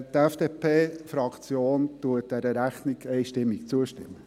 Die FDP-Fraktion stimmt dieser Rechnung einstimmig zu.